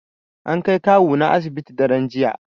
An kai kawuna asibiti daran jiya